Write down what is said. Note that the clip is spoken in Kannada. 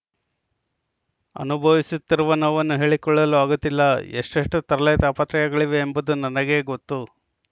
ಅನುಭವಿಸುತ್ತಿರುವ ನೋವನ್ನು ಹೇಳಿಕೊಳ್ಳಲು ಆಗುತ್ತಿಲ್ಲ ಎಷ್ಟೆಷ್ಟುತರಲೆ ತಾಪತ್ರಯಗಳಿವೆ ಎಂಬುದು ನನಗೇ ಗೊತ್ತು